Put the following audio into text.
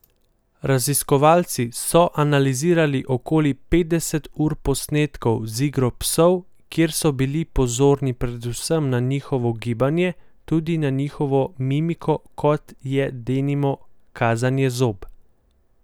Raziskovalci so analizirali okoli petdeset ur posnetkov z igro psov, kjer so bili pozorni predvsem na njihovo gibanje, tudi na njihovo mimiko kot je denimo kazanje zob.